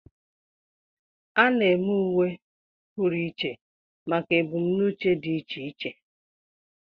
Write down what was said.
A na-eme uwe pụrụ iche maka ebumnuche dị iche iche.